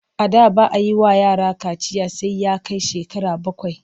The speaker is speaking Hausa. A da ba a yi wa yara kaciya sai ya kai shekara bakwai.